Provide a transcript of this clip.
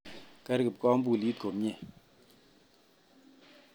Ker kipkobulit komie